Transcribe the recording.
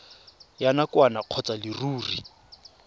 ya nakwana kgotsa ya leruri